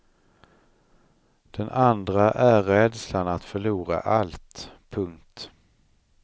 Den andra är rädslan att förlora allt. punkt